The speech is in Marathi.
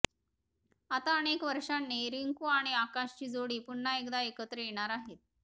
आता अनेक वर्षांनी रिंकू आणि आकाशची जोडी पुन्हा एकदा एकत्र येणार आहेत